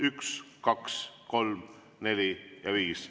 Üks, kaks, kolm, neli ja viis.